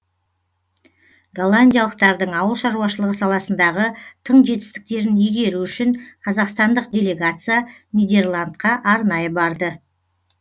голландиялықтардың ауыл шаруашылығы саласындағы тың жетістіктерін игеру үшін қазақстандық делегация нидерландқа арнайы барды